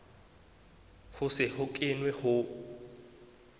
ho se ho kenwe ho